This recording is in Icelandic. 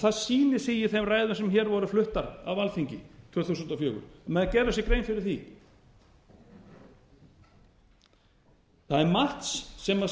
það sýnir sig í þeim ræðum sem hér voru fluttar á alþingi tvö þúsund og fjögur að menn gerðu sér grein fyrir því það er margt sem